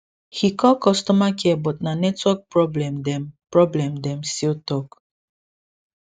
he call customer care but na network problem dem problem dem still talk